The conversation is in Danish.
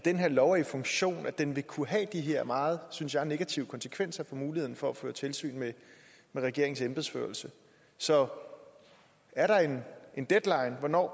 den her lov er i funktion at den vil kunne have de her meget synes jeg negative konsekvenser på muligheden for at føre tilsyn med regeringens embedsførelse så er der en deadline hvornår